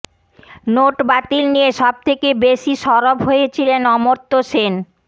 note বাতিল নিয়ে সব থেকে বেশি সরব হয়েছিলেন অমর্ত্য সেন